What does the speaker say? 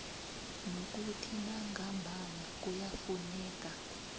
nokuthi nangambala kuyafuneka